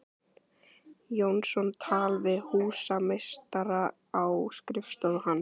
Jónsson tal við húsameistara á skrifstofu hans.